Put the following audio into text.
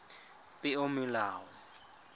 peomolao